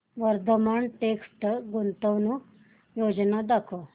Vardhman text गुंतवणूक योजना दाखव